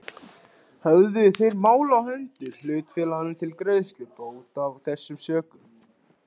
Höfðuðu þeir mál á hendur hlutafélaginu til greiðslu bóta af þessum sökum.